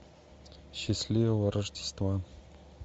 счастливого рождества